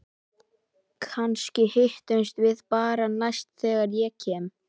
Kannski hittumst við bara næst þegar ég kem.